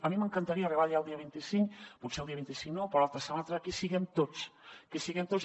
a mi m’encantaria arribar allà el dia vint cinc potser el dia vint cinc no però l’altre o si no l’altre i que hi siguem tots que hi siguem tots